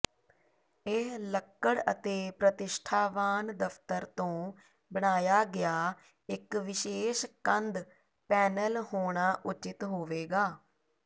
ਇਹ ਲੱਕੜ ਅਤੇ ਪ੍ਰਤਿਸ਼ਠਾਵਾਨ ਦਫ਼ਤਰ ਤੋਂ ਬਣਾਇਆ ਗਿਆ ਇਕ ਵਿਸ਼ੇਸ਼ ਕੰਧ ਪੈਨਲ ਹੋਣਾ ਉਚਿਤ ਹੋਵੇਗਾ